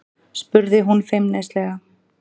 spurði hún feimnislega.